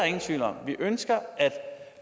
ingen tvivl om vi ønsker at